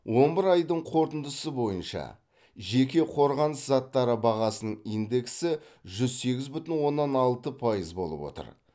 он бір айдың қорытындысы бойынша жеке қорғаныс заттары бағасының индексі жүз сегіз бүтін оннан алты пайыз болып отыр